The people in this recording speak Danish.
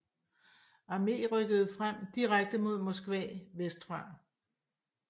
Armée rykkede frem direkte mod Moskva vestfra